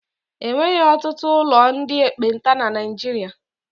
E nweghị ọtụtụ ụlọ ndị ekpenta na Niijiria.